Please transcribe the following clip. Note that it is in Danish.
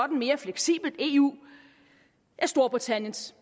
mere fleksibelt eu er storbritanniens